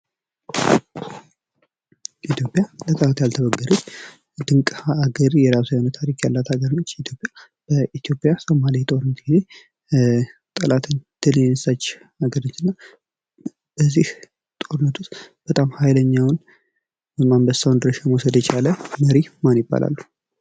ኢትዮጵያ ለጠላት ያልተበገረች ድንቅ ሀገር የራሷ የሆነ ታሪክ ያላት ሀገር ነች ኢትዮጵያ። ኢትዮጵያ በሶማሌ ጦርነት ጊዜ ጠላትን ድል የነሳች ሀገር ነች እና እና በዚህ ጦርነት ውስጥ ሀይለኛውን ወይም አንበሳውን ድርሻ የቻለ መሪ ማን ይባላሉ?